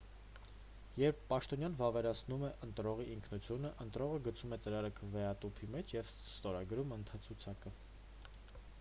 երբ պաշտոնյան վավերացնում է ընտրողի ինքնությունը ընտրողը գցում է ծրարը քվեատուփի մեջ և ստորագրում ընտրացուցակը